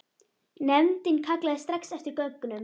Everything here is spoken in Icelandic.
Nefndin kallaði strax eftir gögnum.